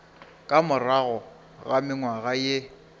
ka morago ga mengwaga ye